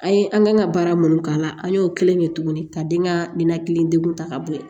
An ye an kan ka baara mun k'a la an y'o kelen de ye tuguni ka den ka minan kelen degun ta ka bɔ yen